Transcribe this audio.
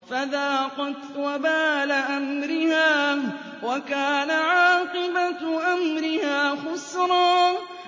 فَذَاقَتْ وَبَالَ أَمْرِهَا وَكَانَ عَاقِبَةُ أَمْرِهَا خُسْرًا